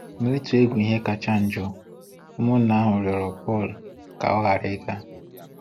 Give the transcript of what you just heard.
Na-itụ egwu ihe kacha njọ, ụmụnna ahụ rịọrọ Pọl ka ọ ghara ịga.